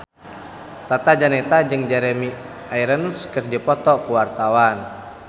Tata Janeta jeung Jeremy Irons keur dipoto ku wartawan